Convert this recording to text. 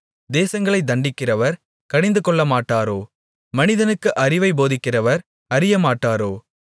தேசங்களைத் தண்டிக்கிறவர் கடிந்துகொள்ளமாட்டாரோ மனிதனுக்கு அறிவைப் போதிக்கிறவர் அறியமாட்டாரோ